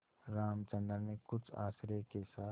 रामचंद्र ने कुछ आश्चर्य के साथ